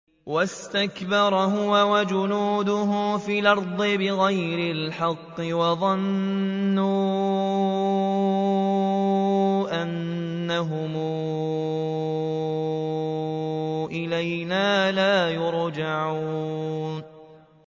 وَاسْتَكْبَرَ هُوَ وَجُنُودُهُ فِي الْأَرْضِ بِغَيْرِ الْحَقِّ وَظَنُّوا أَنَّهُمْ إِلَيْنَا لَا يُرْجَعُونَ